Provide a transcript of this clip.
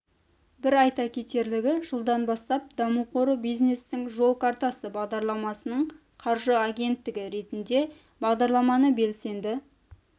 бір айта кетерлігі жылдан бастап даму қоры бизнестің жол картасы бағдарламасының қаржы агенттігі ретінде бағдарламаны белсенді